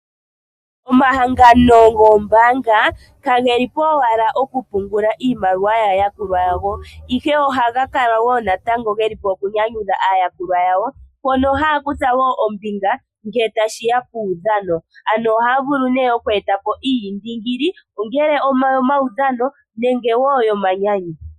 Omahangano goombaanga kage li po owala okupungula iimaliwa yaa yakulwa yago, ihe ohaga kala wo natango nokunyanyudha aayakulwa yawo mpono haya kutha wo ombinga ngele tashi ya puudhano, ano ohaya vulu nee oku eta po iiyindingili ongele oyomaudhano nenge yomanyanyu.